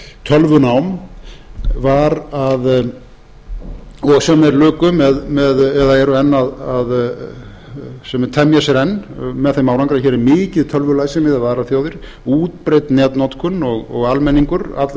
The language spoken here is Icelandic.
tölvunám var að og sem þeir luku eða eru enn að sem þeir temja sér enn með þeim árangri að hér er mikið tölvulæsi miðað við aðrar þjóðir útbreidd netnotkun og allur